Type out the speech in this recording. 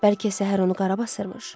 Bəlkə səhər onu qarabasırmış?